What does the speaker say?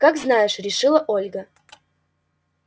как знаешь решила ольга